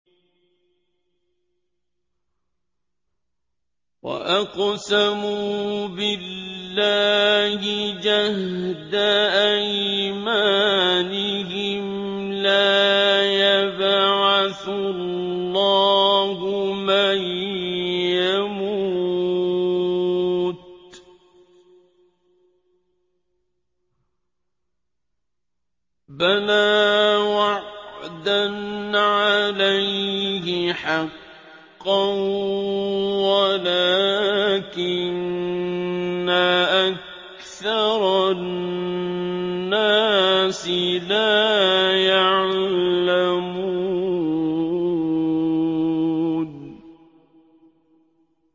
وَأَقْسَمُوا بِاللَّهِ جَهْدَ أَيْمَانِهِمْ ۙ لَا يَبْعَثُ اللَّهُ مَن يَمُوتُ ۚ بَلَىٰ وَعْدًا عَلَيْهِ حَقًّا وَلَٰكِنَّ أَكْثَرَ النَّاسِ لَا يَعْلَمُونَ